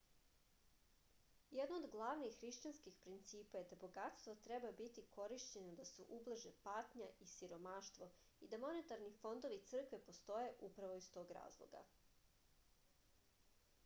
jedno od glavnih hrišćanskih principa je da bogatstvo treba biti korišćeno da se ublaže patnja i siromaštvo i da monetarni fondovi crkve postoje upravo iz tog razloga